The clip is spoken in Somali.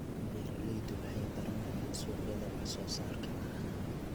Beeraleydu waxay baranayaan suuqyada wax soo saarka caanaha.